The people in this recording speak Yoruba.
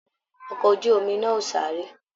Ọkọ ojú omi nà o sáré.